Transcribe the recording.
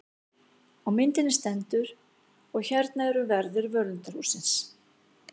Á myndinni stendur: Og þarna eru verðir völundarhússins.